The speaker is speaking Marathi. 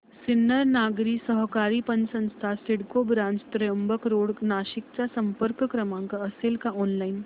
सिन्नर नागरी सहकारी पतसंस्था सिडको ब्रांच त्र्यंबक रोड नाशिक चा संपर्क क्रमांक असेल का ऑनलाइन